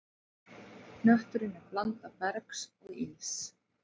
Hnötturinn er blanda bergs og íss.